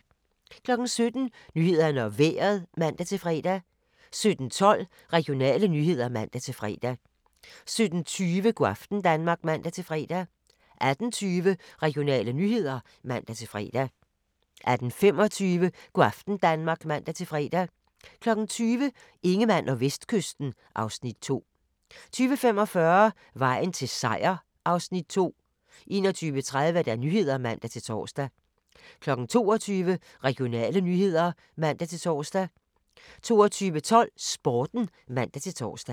17:00: Nyhederne og Vejret (man-fre) 17:12: Regionale nyheder (man-fre) 17:20: Go' aften Danmark (man-fre) 18:20: Regionale nyheder (man-fre) 18:25: Go' aften Danmark (man-fre) 20:00: Ingemann og Vestkysten (Afs. 2) 20:45: Vejen til Seier (Afs. 2) 21:30: Nyhederne (man-tor) 22:00: Regionale nyheder (man-tor) 22:12: Sporten (man-tor)